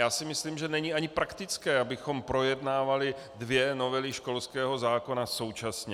Já si myslím, že není ani praktické, abychom projednávali dvě novely školského zákona současně.